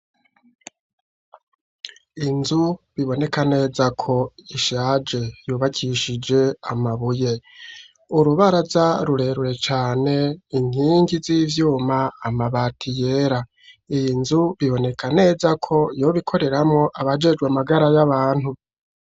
Inzu biboneka neza ko ishaje yubakishije amabuye, urubaraza rurerure cane, inkingi z'ivyuma, amabati yera, iyi nzu biboneka neza ko yoba ikoreramwo abajejwe amagara y'abantu.